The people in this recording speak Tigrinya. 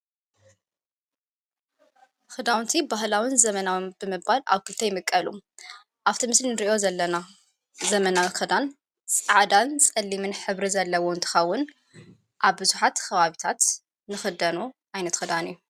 ኽዳውንቲ ባህላውን ዘመናዊ ብመባል ኣብ ክልተ ይምቀሉ ኣብተ ምስል ንርእዮ ዘለና ዘመናዊ ኽዳን ፃዕዳን ጸሊምን ሕብሪ ዘለዎ ንትኻውን ኣብብዙኃት ኽባቢታት ንኽደኖ ኣይነት ኽዳን እዩ::